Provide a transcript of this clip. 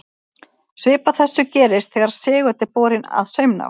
Svipað þessu gerist þegar segull er borinn að saumnál.